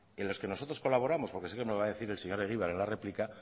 en los que nosotros colaboramos porque sé que me va a decir el señor egibar en la réplica